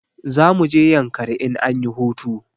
Za mu je yankari in anyi hutu